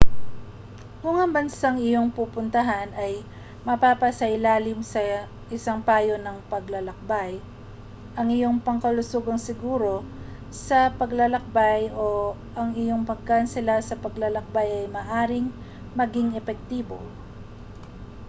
kung ang bansang iyong pupuntahan ay mapasailalim sa isang payo ng paglalakbay ang iyong pangkalusugang seguro sa paglalakbay o ang iyong pagkansela sa paglalakbay ay maaaring maging epektibo